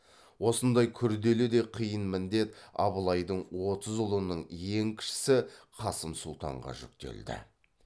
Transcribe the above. осындай күрделі де қиын міндет абылайдың отыз ұлының ең кішісі қасым сұлтанға жүктелді